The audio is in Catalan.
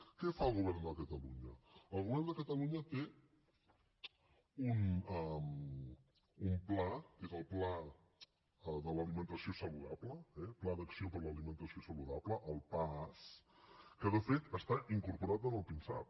què fa el govern de catalunya el govern de catalunya té un pla que és el pla de l’alimentació saludable eh pla d’acció per a l’alimentació saludable el paas que de fet està incorporat en el pinsap